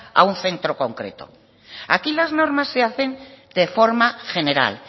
a un centro concreto aquí las normas se hacen de forma general